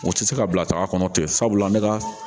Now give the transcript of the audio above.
U tɛ se ka bila taga kɔnɔ ten sabula an bɛ ka